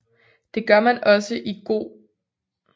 Det gør man også i go